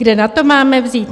Kde na to máme vzít?